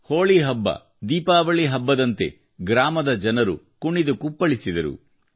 ಹೋಳಿ ಹಬ್ಬದೀಪಾವಳಿ ಹಬ್ಬದಂತೆ ಗ್ರಾಮದ ಜನರು ಕುಣಿದು ಕುಪ್ಪಳಿಸಿದರು